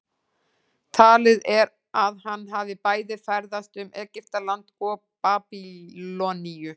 talið er að hann hafi bæði ferðast um egyptaland og babýloníu